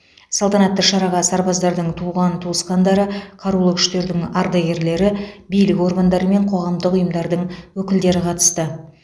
салтанатты шараға сарбаздардың туған туысқандары қарулы күштердің ардагерлері билік органдары мен қоғамдық ұйымдардың өкілдері қатысты